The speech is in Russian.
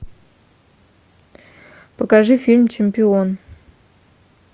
покажи фильм чемпион